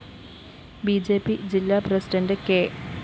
B J P ജില്ല president K